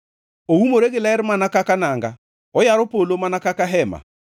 Oumore gi ler mana kaka nanga; oyaro polo mana kaka hema